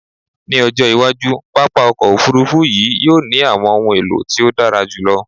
Ni ojo iwaju, papa ọkọ ofurufu yii yoo ni awọn ohun elo ti o dara julọ